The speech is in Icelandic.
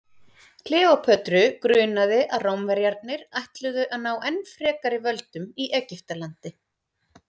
kleópötru grunaði að rómverjarnir ætluðu að ná enn frekari völdum í egyptalandi